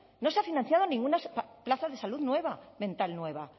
no se ha financiado ninguna plaza de salud mental nueva